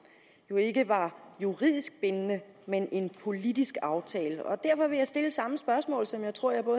vil ikke var juridisk bindende men en politisk aftale derfor vil jeg stille samme spørgsmål som jeg tror jeg på